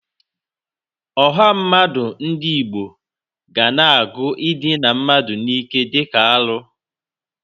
Ọha mmadụ ndị Igbo.ga na-agụ idịna mmadụ n'ike dịka arụ.